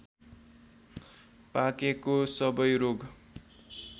पाकेको सबै रोग